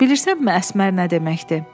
Bilirsənmi Əsmər nə deməkdir?